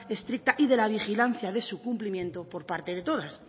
estricta y de la vigilancia de su cumplimiento por parte de todas